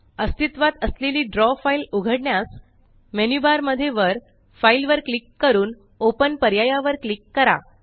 अस्तित्वात असलेली draw file उघडण्यास मेन्यु बार मध्ये वर फाइल वर क्लिक करून ओपन पर्यायावर क्लिक करा